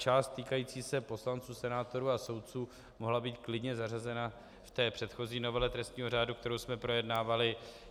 Část týkající se poslanců, senátorů a soudců, mohla být klidně zařazena v té předchozí novele trestního řádu, kterou jsme projednávali.